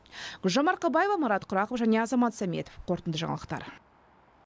гүлжан марқабаева марат құрақов және азамат сәметов қорытынды жаңалықтар